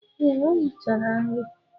Ee, o richara nri.